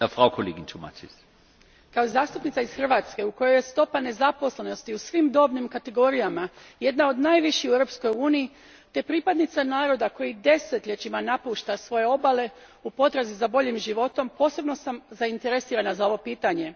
Gospodine predsjedniče, kao zastupnica iz Hrvatske u kojoj je stopa nezaposlenosti u svim dobnim kategorijama jedna od najviših u Europskoj uniji te pripadnica naroda koji desetljećima napušta svoje obale, u potrazi za boljim životom, posebno sam zainteresirana za ovo pitanje.